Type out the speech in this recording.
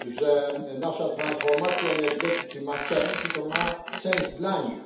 że nasza transformacja energetyki ma sens i to ma sens dla nich.